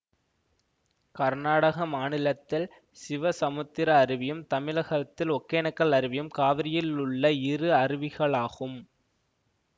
கர்நாடக மாநிலத்தில் சிவசமுத்திர அருவியும் தமிழகத்தில் ஒகேனக்கல் அருவியும் காவிரியில் உள்ள இரு அருவிகளாகும்